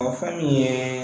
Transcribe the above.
O fɛn min ye